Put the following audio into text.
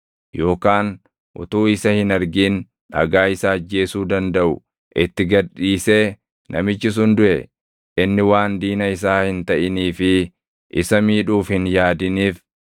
yookaan utuu isa hin argin dhagaa isa ajjeesuu dandaʼu itti gad dhiisee namichi sun duʼe, inni waan diina isaa hin taʼinii fi isa miidhuuf hin yaadiniif